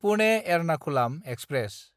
Pune-Ernakulam express